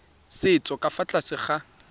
setso ka fa tlase ga